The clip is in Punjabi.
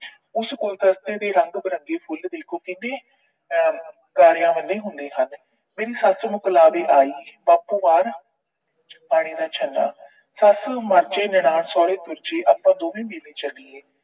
ਉਸ ਗੁਲਦਸਤੇ ਦੇ ਰੰਗ ਬਿਰੰਗੇ ਫੁੱਲ ਦੇਖੋ ਕਿੰਨੇ ਆਹ ਤਾਰਿਆਂ ਵਰਗੇ ਹੁੰਦੇ ਹਨ। ਮੇਰੀ ਸੱਸ ਮਕਲਾਬੇ ਆਈ, ਬਾਪੂ ਮਾਰ ਪਾਣੀ ਦਾ ਛੱਲਾਂ। ਸੱਸ ਮਰ ਜਾਏ, ਨਨਾਣ ਸਹੁਰੇ ਤੁਰ ਜੇ, ਆਪਾ ਦੋਵੇਂ ਮੇਲੇ ਚਲੀਏ।